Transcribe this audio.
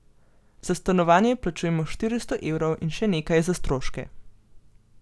Za stanovanje plačujemo štiristo evrov in še nekaj za stroške.